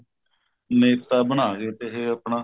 ਨੇਤਾ ਬਣਾ ਗਏ ਤੇ ਆਪਣਾ